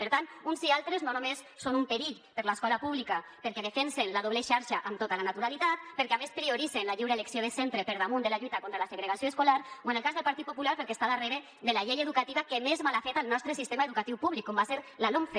per tant uns i altres no només són un perill per a l’escola pública perquè defensen la doble xarxa amb tota la naturalitat perquè a més prioritzen la lliure elecció de centre per damunt de la lluita contra la segregació escolar o en el cas del partit popular perquè està darrere de la llei educativa que més mal ha fet al nostre sistema educatiu públic com va ser la lomce